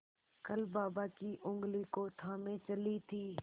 कल बाबा की ऊँगली को थामे चली थी